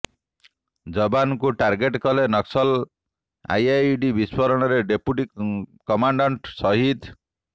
ଜବାନଙ୍କୁ target କଲେ Naxal IED ବିସ୍ଫୋରଣରେ deputy commandant ସହିଦ